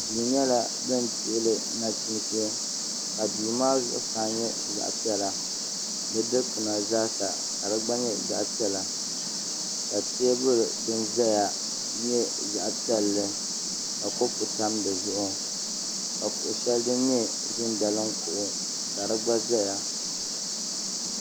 Duu nyɛla bin dihili nachiinsi ka duu maa zuɣusaa nyɛ zaɣ piɛla fdi dikpuna zaa sa ka di gba nyɛ zaɣ piɛlli ka teebuli din ʒɛya gba nyɛ zaɣ piɛlli ka kopu tam di zuɣu ka kuɣu shɛli din nyɛ ʒin daliŋ kuɣu ka di gba ʒɛya